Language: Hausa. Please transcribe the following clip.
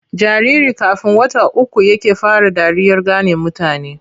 Jariri kafn wata uku yake fara dariyar gane mutane.